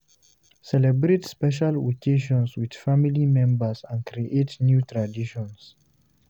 Celebrate special occasions with family members and creating new traditions